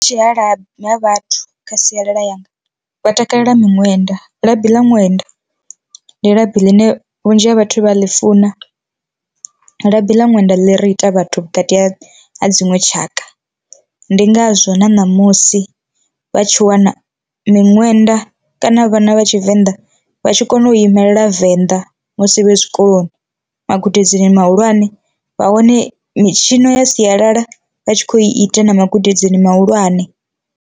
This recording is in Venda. Ha vhathu kha sialala yanga vha takalela miṅwenda labi ḽa ṅwenda, ndi labi ḽine vhunzhi ha vhathu vha ḽi funa labi ḽa ṅwenda ḽi ri ita vhathu vhukati ha dziṅwe tshaka. Ndi ngazwo na ṋamusi vha tshi wana miṅwenda kana vhana vha tshivenḓa vha tshi kona u imelela venḓa musi vha zwikoloni magudedzini mahulwane vha wane mitshino ya sialala vha tshi kho ita na magudedzini mahulwane.